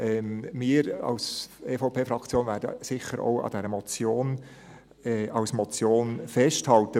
Wir von der EVP-Fraktion werden sicher auch an dieser Motion als Motion festhalten.